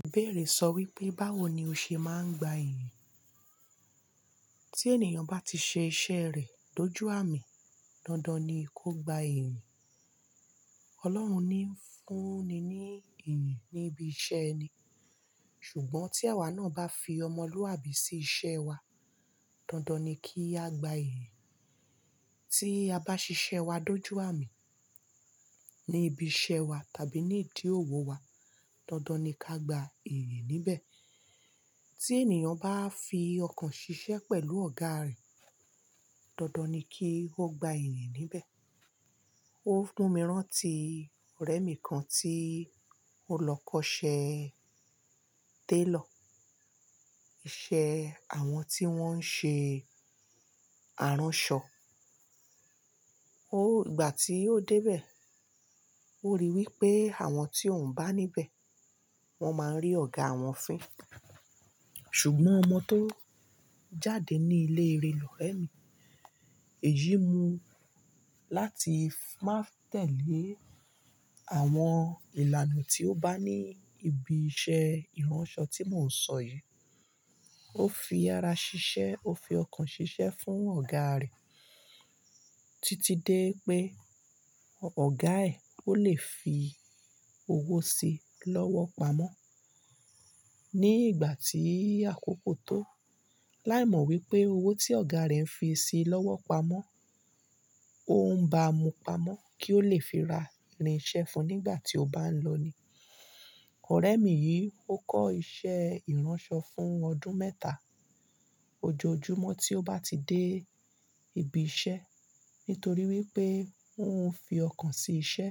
Ìbéèrè sọ wípé báwo ni o ṣe máa ń gba ìyìn? Tí ènìyàn bá ti ṣe iṣẹ́ rẹ̀ dojú àmì, dandan ni kó gba ìyìn. Ọlọ́run ni ń fúnni ní ìyìn níbi iṣẹ́ ẹni. Ṣùgbọ́n tí àwa náà bá fi ọmọlúàbí sí iṣẹ́ wa, dandan ni kí á gba ìyìn. Tí a bá ṣiṣẹ́ wa dojú àmì ní ibi iṣẹ́ wa tàbí ní ìdí òwò wa, dandan ni ká gba ìyìn níbẹ̀. Tí ènìyàn bá fi ọkàn ṣiṣẹ́ pẹ̀lú ọ̀gá rẹ̀, dandan ni kí ó gba iyì níbẹ̀. Ó fún mi rán ti ọ̀rẹ́ mi kan tí ó lọ kọ́ṣẹ́ tailor, iṣẹ́ àwọn tí wọ́n ń ṣe aránṣọ. Ó ìgbà tí ó dé bẹ̀, ó rí i wípé àwọn tí òun bá níbẹ̀, wọ́n máa ń rí ọ̀gá wọn fín. Ṣùgbọ́n ọmọ tó jáde ní ilé eré l’ọ̀rẹ́ mi, èyí mú láti má tẹ̀lé àwọn ìlànà tí ó bá ní ibi iṣẹ́ ìránṣọ tí mò ń sọ yìí. Ó fi ara ṣiṣẹ́, ó fi ọkàn ṣiṣẹ́ fún ọ̀gá rẹ̀ títí dé pé ọ̀gá ẹ̀ ó lè fi owó sí i lọ́wọ́ pamọ́. Ní ìgbà tí àkókò tó, láìmọ̀ wípé owó tí ọ̀gá rẹ̀ ń fi sí i lọ́wọ́ pamọ́, òun ń bá mu pamọ́ kí ó lè fi ra irinṣẹ́ fún un nígbà tí ó bá ń lọ ni. Ọ̀rẹ́ mi yìí ó kọ́ iṣẹ́ ìránṣọ fún ọdún mẹ́ta. Ojoojúmọ́ tí ó bá ti dé ibi iṣẹ́, nítorí wípé òun ń fi ọkàn sí iṣẹ́,